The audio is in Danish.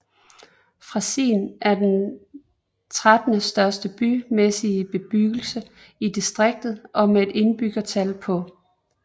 Frasin er den trettende største bymæssig bebyggelse i distriktet med et indbyggertal på